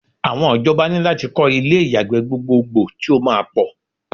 Awon ijoba ní lati ko ilé ìyàgbẹ́ gbogboogbo ti o máa pọ̀